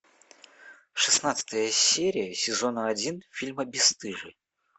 шестнадцатая серия сезона один фильма бесстыжие